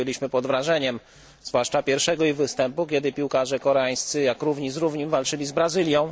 Byliśmy pod wrażeniem zwłaszcza ich pierwszego występu, kiedy piłkarze koreańscy jak równy z równym walczyli z Brazylią.